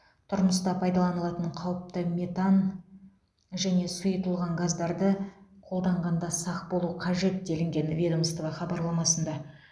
тұрмыста пайдаланылатын қауіпті метан және сұйытылған газдарды қолданғанда сақ болу қажет делінген ведомство хабарламасында